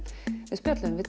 við spjölluðum við